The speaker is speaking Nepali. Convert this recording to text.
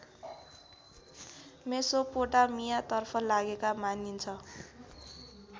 मेसोपोटामियातर्फ लागेका मानिन्छ